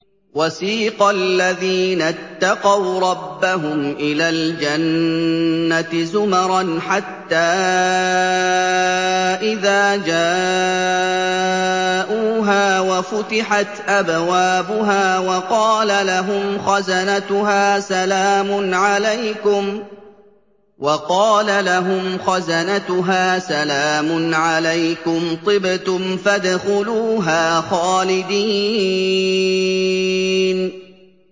وَسِيقَ الَّذِينَ اتَّقَوْا رَبَّهُمْ إِلَى الْجَنَّةِ زُمَرًا ۖ حَتَّىٰ إِذَا جَاءُوهَا وَفُتِحَتْ أَبْوَابُهَا وَقَالَ لَهُمْ خَزَنَتُهَا سَلَامٌ عَلَيْكُمْ طِبْتُمْ فَادْخُلُوهَا خَالِدِينَ